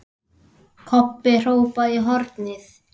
Kobbi hrópaði í hornið.